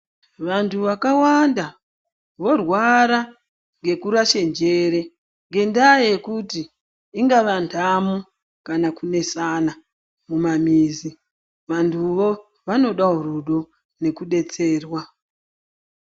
Vantu vakawanda vorwara ngekurashe njere ngendaa yekuti ingava ntamo kana kunesana mumamizi vantuwo vanodawo rudo nekudetserwa.